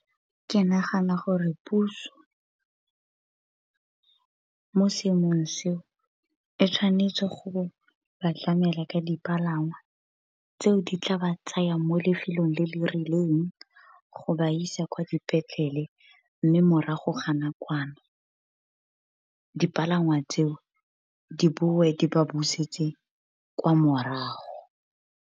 Ke nagana gore puso mo seemong se, e tshwanetse go ba tlamela ka dipalangwa tse o di tla ba tsayang mo lefelong le le rileng. Go ba isa kwa dipetlele, mme morago ga nakwana. Dipalangwa tseo, di bowe di ba busetse kwa morago.